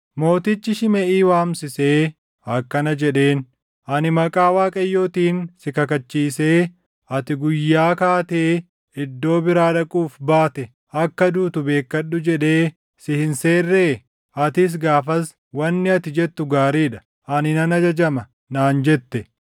mootichi Shimeʼii waamsisee akkana jedheen; “Ani maqaa Waaqayyootiin si kakachiisee, ‘Ati guyyaa kaatee iddoo biraa dhaquuf baate akka duutu beekkadhu’ jedhee si hin seerree? Atis gaafas, ‘Wanni ati jettu gaarii dha. Ani nan ajajama’ naan jette.